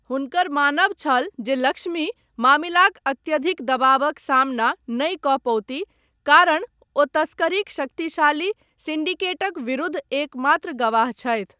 हुनकर मानब छल जे लक्ष्मी मामिलाक अत्यधिक दबाबक सामना नहि कऽ पओतीह कारण ओ तस्करीक शक्तिशाली सिंडिकेटक विरूद्ध एकमात्र गवाह छथि।